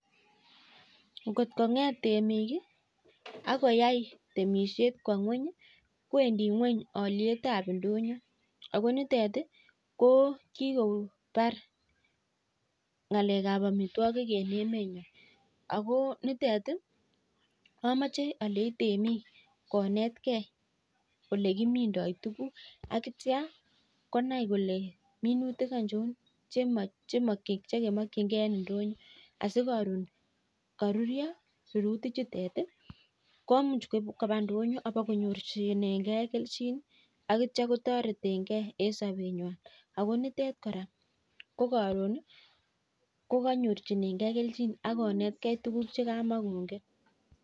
Ngot kong'et temik akoyai temishet kowa ng'weny, kowendi ng'weny olietab ndonyo. Ako nitet ko kikopar ng'alekab amitwagik eng emenwai .Ako nitet amache alenchi temik konetkei ole kimindoi tukuk akonai kole minutik aichon che kemachei en ndonyo. Asi karon karuryo minutichuk komuch koip ndonyo apakonyorchinengei kelchin akotoretegei en sobenywai. Ako nitet kora ko karon konyorchinengei kelchin akonetkei tukuk che kamakongen.